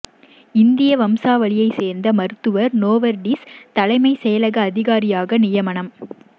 இந்திய வம்சாவளியைச் சேர்ந்த மருத்துவர் நோவர்டிஸ் தலைமைச் செயல் அதிகாரியாக நியமனம்